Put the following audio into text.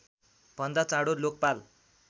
भन्दा चाँडो लोकपाल